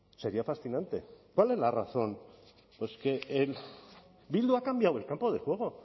sería fascinante cuál es la razón pues que bildu ha cambiado el campo de juego